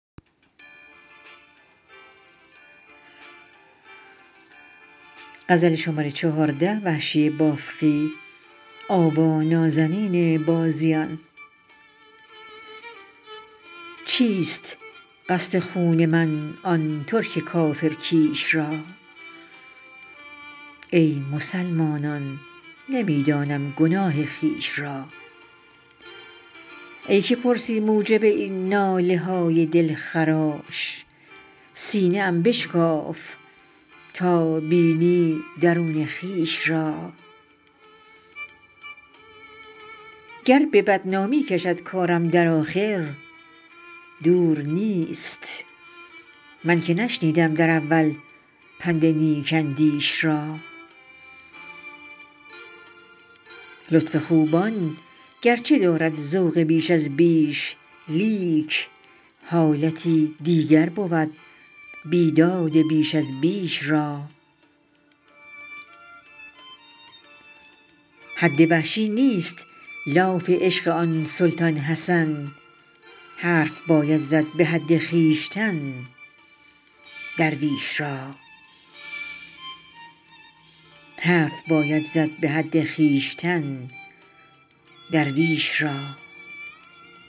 چیست قصد خون من آن ترک کافر کیش را ای مسلمانان نمی دانم گناه خویش را ای که پرسی موجب این ناله های دلخراش سینه ام بشکاف تا بینی درون خویش را گر به بدنامی کشد کارم در آخر دور نیست من که نشنیدم در اول پند نیک اندیش را لطف خوبان گرچه دارد ذوق بیش از بیش لیک حالتی دیگر بود بیداد بیش از بیش را حد وحشی نیست لاف عشق آن سلطان حسن حرف باید زد به حد خویشتن درویش را